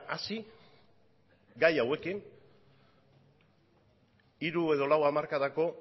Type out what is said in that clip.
hasi gai hauekin hiru edo lau hamarkadako